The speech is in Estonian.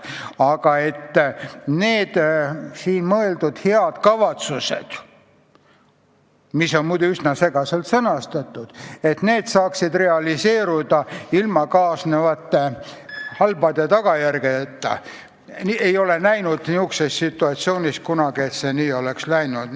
Aga et need siin mõeldud head kavatsused, mis on muide üsna segaselt sõnastatud, saaksid realiseeruda ilma kaasnevate halbade tagajärgedeta – ma ei ole sellises situatsioonis kunagi näinud, et see nii oleks läinud.